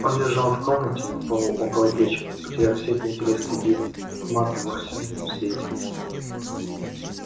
он лежал в комнате на полу около печки потеряв всякий интерес к еде к матту во всем её свете